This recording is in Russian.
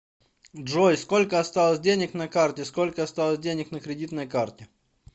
джой сколько осталось денег на карте сколько осталось денег на кредитной карте